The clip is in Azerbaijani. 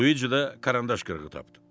Luici də karandaş qırığı tapdı.